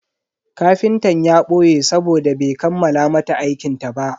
Kafintan ya boye sabode bai kammala mata aikinta ba.